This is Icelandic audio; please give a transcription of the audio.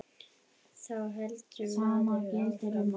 Þá heldur maður áfram.